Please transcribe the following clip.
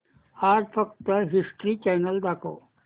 आज फक्त history channel दाखव